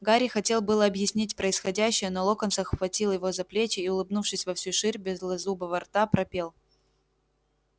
гарри хотел было объяснить происходящее но локонс обхватил его за плечи и улыбнувшись во всю ширь белозубого рта пропел